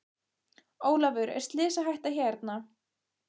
Ólafur er slysahætta hérna?